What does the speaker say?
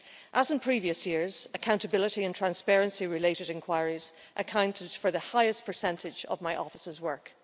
As in previous years, accountability and transparency related inquiries have accounted for the highest percentage of my office's work.